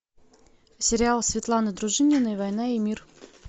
сериал светланы дружининой война и мир